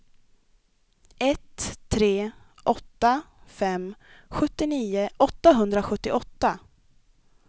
ett tre åtta fem sjuttionio åttahundrasjuttioåtta